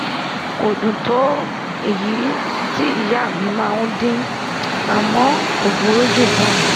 kò dùn tó èyí tó èyí tí ìyá mi máa ń dín àmọ́ kò burú jù náà